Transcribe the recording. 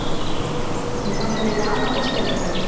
Ég fann fyrir lamandi skelfingu.